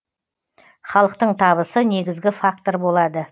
халықтың табысы негізгі фактор болады